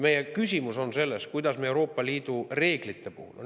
Meie küsimus on selles, kuidas me Euroopa Liidu reeglite puhul.